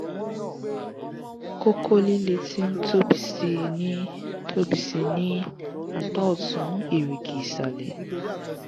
koko lile ti n tobi sii ni tobi sii ni apa otun erigi isale